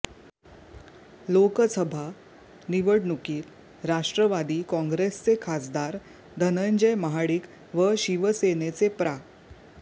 लोकसभा निवडणुकीत राष्ट्रवादी काँग्रेसचे खासदार धनंजय महाडिक व शिवसेनेचे प्रा